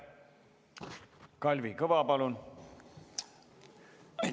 Kalvi Kõva, palun!